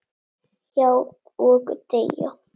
Já, og deyja